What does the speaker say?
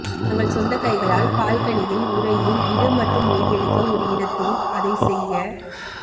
தங்கள் சொந்த கைகளால் பால்கனியில் உறையில் இடு மற்றும் ஓய்வெடுக்க ஒரு இடத்தில் அதை செய்ய